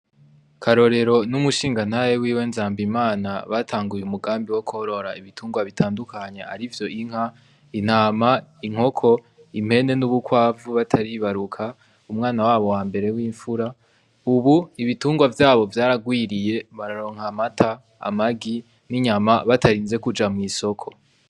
Karorero n'umushinganahe wiwe nzamba imana batanguye umugambi wo kworora ibitungwa bitandukanya ari vyo inka intama inkoko impene n'ubukwavu bataribaruka umwana wabo wa mbere w'imfura, ubu ibitungwa vyabo vyaragwiriye bararonkamata amagi n'inyama batarinze kuja mw'isoko.